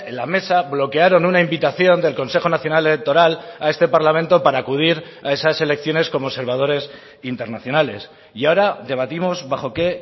la mesa bloquearon una invitación del consejo nacional electoral a este parlamento para acudir a esas elecciones como observadores internacionales y ahora debatimos bajo qué